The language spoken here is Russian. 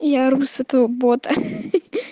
я ору с этого бота хи-хи